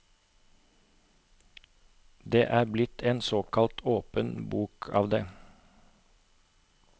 Det er blitt en såkalt åpen bok av det.